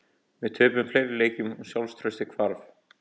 Við töpuðum fleiri leikjum og sjálfstraustið hvarf.